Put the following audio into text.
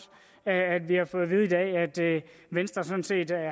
at vi har fået vide i dag altså at venstre sådan set